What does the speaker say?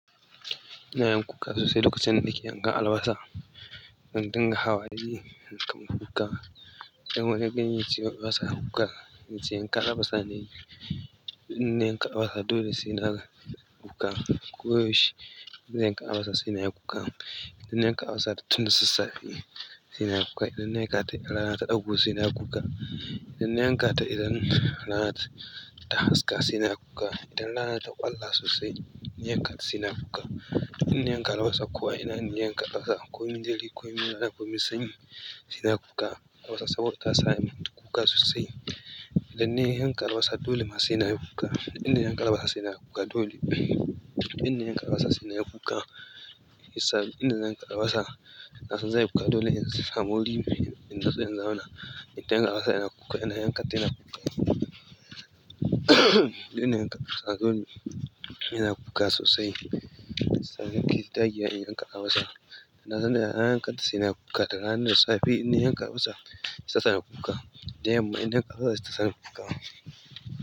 Ina yin kuka sosai lokacin da nake yankan albasa. Zan dinga hawaye yankan kuka. Idan wani ya gani yace ce albasa kuka. In ce yanka albasa nayi, in na yanka albasa dole sai naga kuka. Ko yaushe in zan yanka albasa sai na yi kuka. In na yanka albasa da tun da sassafe, sai na yi kuka. Idan na yanka ta in rana ta ɗago sai na yi kuka. Idan na yanka ta idan rana ta haska sai na yi kuka. Idan rana ta ƙwalla sosai, na yanka ta sai nayi kuka. In na yanka albasa ko a ina ne yanka albasa komin dare ko min rana komin sanyi sai na yi kuka. Albasa saboda ta sa min kuka sosai. Idan na yanka albasa dole ma sai nayi kuka, duk in na yanka albasa sai nayi kuka dole idan yanka albasa sai na yi kuka. Albasa duk inda zan yanka albasa na san zanyi kuka dole in samu wuri in natsu in zauna. Idan yanka albasa ina kuka. Ina yanka ta ina kuka. Idan na yanka albasa ina kuka sosai shiyasa nake ta dagewa in yanka albasa. Na san da nayi yankanta sai na yi kuka. Da rana da safe in na yanka albasa sai ta sani kuka. Da yamma ina yankata sai ta sani kuka.